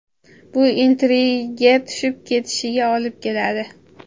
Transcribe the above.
Bu intriga tushib ketishiga olib keladi.